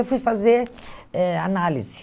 Eu fui fazer eh análise.